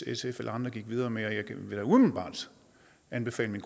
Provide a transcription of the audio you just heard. sf eller andre gik videre med og jeg vil da umiddelbart anbefale min